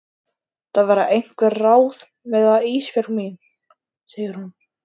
Það verða einhver ráð með það Ísbjörg mín, segir hún.